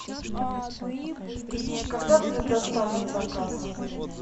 когда будет доставлен заказ